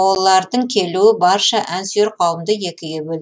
олардың келуі барша ән сүйер қауымды екіге бөлді